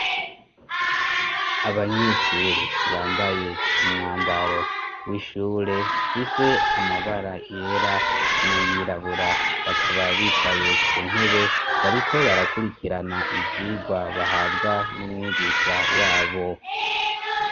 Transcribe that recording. Abanyeshure bambaye umwambaro w'ishure ifise amabara yera nay'irabura bakaba bicaye ku ntebe, bariko barakurikirana ivyigwa bahabwa n'umwigisha wabo.